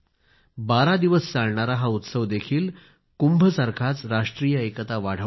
बारा दिवस चालणारा हा उत्सवदेखील कुंभ सारखाच राष्ट्रीय एकता वाढवणारा आहे